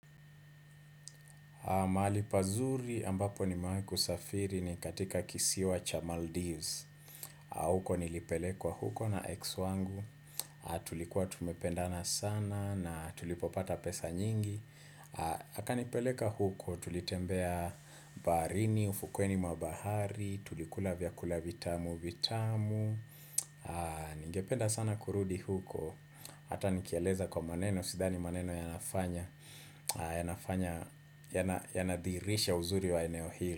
Mahali pazuri ambapo nimewai kusafiri ni katika kisiwa cha Maldives huko nilipelekwa huko na ex wangu Tulikuwa tumependana sana na tulipopata pesa nyingi Akanipeleka huko tulitembea baharini, ufukweni mwa bahari, tulikula vyakula vitamu vitamu Ningependa sana kurudi huko Hata nikieleza kwa maneno, sidhani maneno ya nafanya ya nafanya, ya nadhihirisha uzuri wa eneo hili.